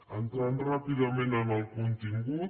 entrant ràpidament en el contingut